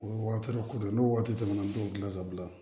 O ye wagati ko de ye n'o waati tɛmɛna an t'o dilan ka bila